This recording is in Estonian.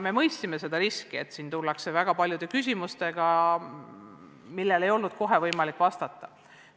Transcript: Me mõistsime seda riski, et siin tullakse väga paljude küsimustega, millele ei olnud kohe võimalik vastata.